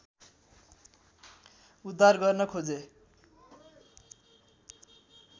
उद्धार गर्न खोजे